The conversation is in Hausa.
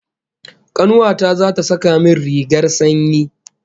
Kanuwa ta zata saka min rigar sanyi